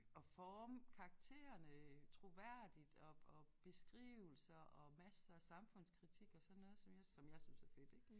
At forme karakterene troværdigt og og beskrivelser og masser af samfundskritik og sådan noget som jeg som jeg synes er fedt ik